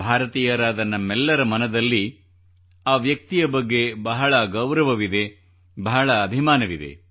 ಭಾರತೀಯರಾದ ನಮ್ಮೆಲ್ಲರ ಮನದಲ್ಲಿ ಆ ವ್ಯಕ್ತಿಯ ಬಗ್ಗೆ ಬಹಳ ಗೌರವವಿದೆ ಬಹಳ ಅಭಿಮಾನವಿದೆ